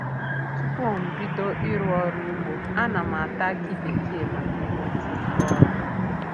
Tupu m bido ịrụ ọrụ ugbo a na m ata akị bekee maka inweta ike ọrụ.